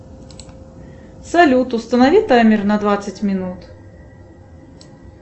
салют установи таймер на двадцать минут